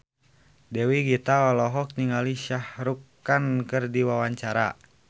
Dewi Gita olohok ningali Shah Rukh Khan keur diwawancara